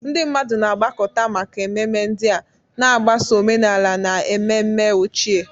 Ndị mmadụ na-agbakọta maka ememe ndị a, na-agbaso omenala na ememe ochie.